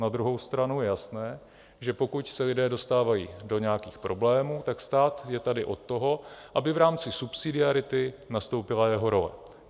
Na druhou stranu je jasné, že pokud se lidé dostávají do nějakých problémů, tak stát je tady od toho, aby v rámci subsidiarity nastoupila jeho role.